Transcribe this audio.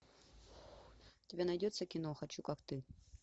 у тебя найдется кино хочу как ты